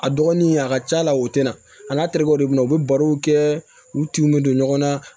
A dɔgɔnin a ka c'a la o tɛ na a n'a terekew de bɛ na u bɛ barow kɛ u tinw bɛ don ɲɔgɔn na